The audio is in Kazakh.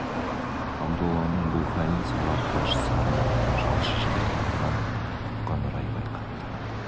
абдолланың бұл халін сала құлаш сары мұртты жалшы жігіт иван ұққан рай байқатты